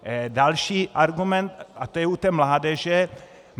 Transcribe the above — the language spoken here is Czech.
Další argument, a to je u té mládeže.